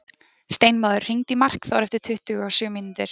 Steinmóður, hringdu í Markþór eftir tuttugu og sjö mínútur.